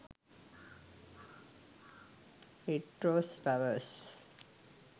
red rose flowers